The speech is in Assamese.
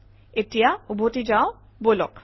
এতিয়া উভতি যাওঁ বলক